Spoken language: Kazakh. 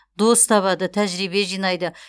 дос табады тәжірибе жинайды